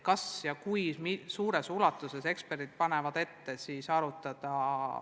Vaatame, kui suures ulatuses uutlaadi rahastamist eksperdid panevad ette arutada.